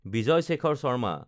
Vijay Shekhar Sharma